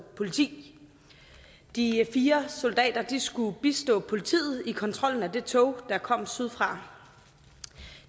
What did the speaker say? politi de fire soldater skulle bistå politiet i kontrollen af det tog der kom sydfra